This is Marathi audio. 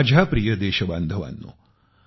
माझ्या प्रिय देश बांधवानो